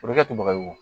O bɛ kɛ to baga ye wo